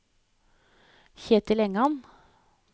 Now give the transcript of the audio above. Ketil Engan